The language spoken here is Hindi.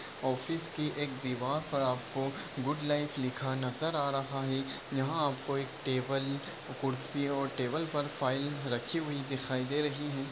ऑफिस की एक दीवाल पर आपको गुड लाइफ लिखा नजर आ रहा है यहा आपको एक टेबल खुर्शी और टेबल पर फाइल रखी हुई दिखाई दे रही है।